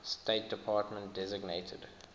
state department designated